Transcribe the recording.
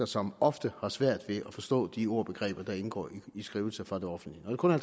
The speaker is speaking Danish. som ofte har svært ved at forstå de ord og begreber der indgår i skrivelser fra det offentlige når det kun er